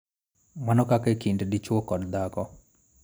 Mana kaka e kind dichwo kod dhako.